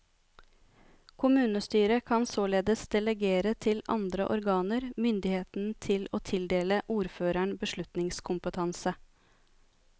Kommunestyret kan således delegere til andre organer myndigheten til å tildele ordføreren beslutningskompetanse.